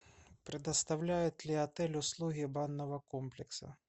предоставляет ли отель услуги банного комплекса